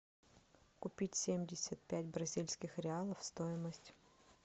купить семьдесят пять бразильских реалов стоимость